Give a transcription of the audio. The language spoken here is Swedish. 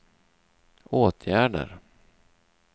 åtgärder